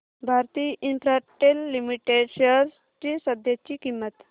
Bharti Infratel limited shares ची सध्याची किंमत